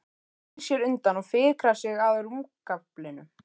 Snýr sér undan og fikrar sig að rúmgaflinum.